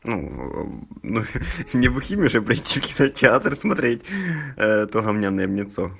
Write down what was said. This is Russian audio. ну ээ не бухими же придти в кинотеатр смотреть то говняное вне цо